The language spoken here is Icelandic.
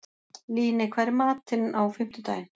Líney, hvað er í matinn á fimmtudaginn?